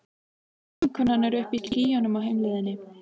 Vinkonan er uppi í skýjunum á heimleiðinni.